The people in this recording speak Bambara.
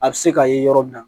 A bɛ se ka ye yɔrɔ min na